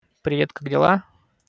привет как дела